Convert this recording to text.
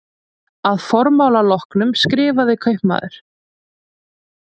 Að formála loknum skrifaði kaupmaður